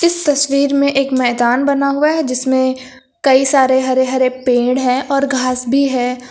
इस तस्वीर में एक मैदान बना हुआ है जिसमें कई सारे हरे हरे पेड़ हैं और घास भी है।